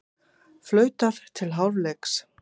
Flautað til hálfleiks